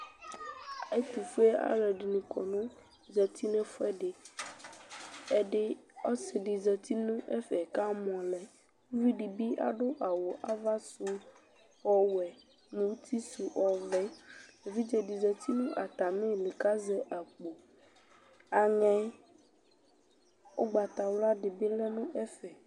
Ɛtʋfuealʋ dɩnɩ kɔ nʋ zati nʋ ɛfʋɛdɩ Ɛdɩ, ɔsɩ dɩ zati nʋ ɛfɛ kʋ amɔ lɛ Uvi dɩ bɩ adʋ awʋ ava sʋ ɔwɛ nʋ uti sʋ ɔvɛ Evidze dɩ zati nʋ atamɩlɩ kʋ azɛ akpo Aŋɛ ʋgbatawla dɩ bɩ lɛ nʋ ɛfɛ